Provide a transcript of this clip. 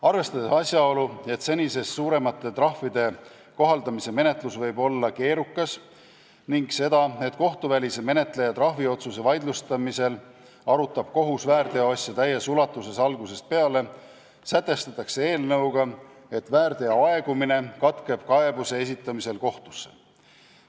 Arvestades asjaolu, et senisest suuremate trahvide kohaldamise menetlus võib olla keerukas, ning seda, et kohtuvälise menetleja trahviotsuse vaidlustamisel arutab kohus väärteoasja täies ulatuses algusest peale, sätestatakse eelnõuga, et väärteo aegumine katkeb kaebuse esitamisel kohtusse.